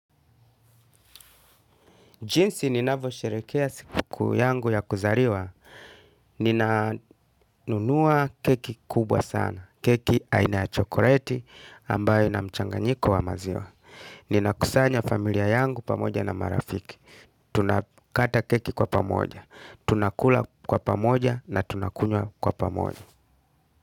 Jinsi ninavyosherehekea siku kuu yangu ya kuzaliwa, ninanunua keki kubwa sana, keki aina ya chokoleti ambayo ina mchanganyiko wa maziwa. Ninakusanya familia yangu pamoja na marafiki. Tunakata keki kwa pamoja, tunakula kwa pamoja na tunakunywa kwa pamoja.